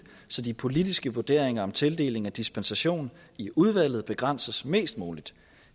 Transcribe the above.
så de politiske vurderinger om tildeling af dispensation i udvalget begrænses mest muligt